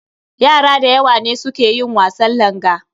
Yara da yawa ne su ke yin wasan langa.